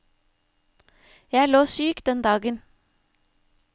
Jeg lå syk den dagen.